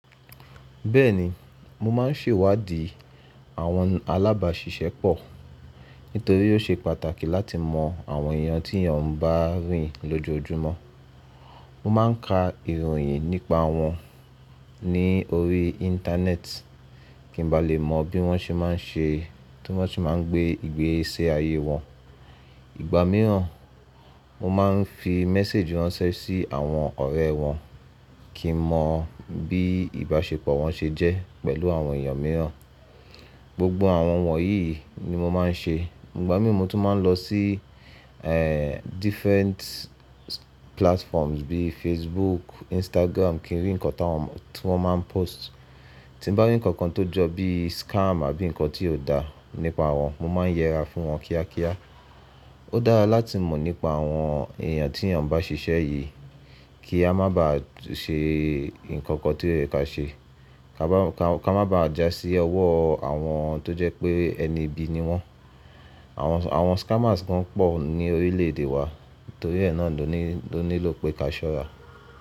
Bẹ́ẹ̀ni, mo máa ń ṣèwádìí àwọn alábàṣiṣẹ́pọ̀ nítorí ó ṣe pàtàkì láti mọ àwọn èèyàn tí èèyàn ń bá rìn lójoojúmọ́. Mo máa ń ka ìròyìn nípa wọn ní orí Íńtánẹ́ẹ̀tì kí n ba lè mọ bí wọ́n ṣe máa ń ṣe, tí wọ́n ṣe máa ń gbé ìgbésẹ ayé wọn. Ìgbà mìíràn, mo máa ń fi méséjì ránṣẹ́ sí àwọn ọ̀rẹ́ wọn kí n mọ bí ìbáṣepọ̀ wọn ṣe jẹ́ pẹ̀lú àwọn èèyàn mìíràn. Gbogbo àwọn wọ̀nyí ni mo máa ń ṣe. Ìgbà mìí, mo tún máa ń lọ sí, different platforms bíi Facebook, Instagram kí n rí nǹkan tí wọ́n máa ń post. Tí bá rí ǹkan tó jọ bíi scam àbí ǹkan tí kò dá nípa wọn, mo máa ń yẹra fún wọn kíákíá. Ó dára láti mọ̀ nípa àwọn èèyàn tí èèyàn bá ṣiṣẹ́ yìí kí a máa ba ṣe ǹkan kan tí kò yẹ kí a ṣe. Kí a máa ba jà sí ọwọ́ àwọn tó jẹ́ pé ẹni ibi ni wọ́n. Àwọn scammers gan pọ̀ ní orílẹ̀ èdè wá nítorí ẹ̀ náà ló nílò pé ká ṣọ́ra.